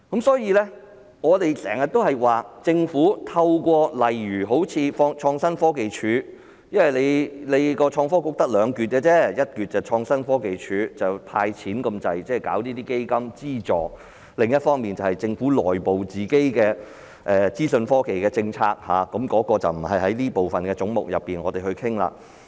所以，我們經常說政府透過例如好像創新科技署......因為創新及科技局只有兩個部分而已，一個是創新科技署，幾乎只是"派錢"、成立基金資助，另一個便是政府內部的資訊科技政策，那個不是在這個總目內討論。